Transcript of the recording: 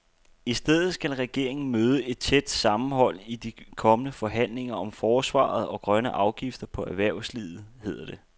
I stedet skal regeringen møde et tæt sammenhold i de kommende forhandlinger om forsvaret og grønne afgifter på erhvervslivet, hedder det.